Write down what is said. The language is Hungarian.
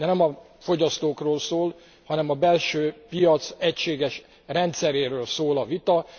De nem a fogyasztókról szól, hanem a belső piac egységes rendszeréről szól a vita.